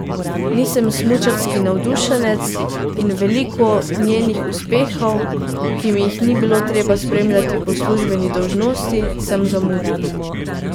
Nisem smučarski navdušenec in veliko njenih uspehov, ki mi jih ni bilo treba spremljati po službeni dolžnosti, sem zamudil.